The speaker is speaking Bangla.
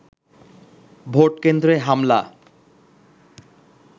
ভোটকেন্দ্রে হামলা